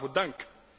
Waarvoor dank!